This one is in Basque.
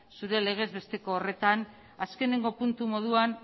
zure legez besteko horretan azkeneko puntu moduan